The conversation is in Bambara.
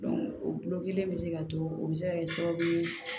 o kelen bɛ se ka to o bɛ se ka kɛ sababu ye